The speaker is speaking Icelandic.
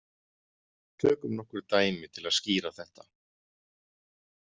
Tökum nokkur dæmi til að skýra þetta.